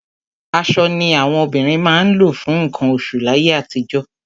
Aṣọ ni àwọn obìnrin máa ń lò fún nǹkan oṣù láyé àtijọ́.